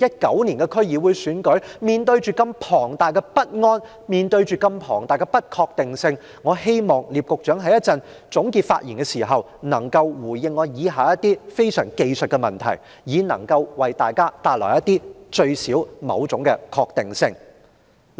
今年的區議會選舉將至，面對龐大的不安、眾多的不確定性，我希望聶局長稍後能在總結發言時回應我以下提出的技術性問題，多少給予市民一點確定性。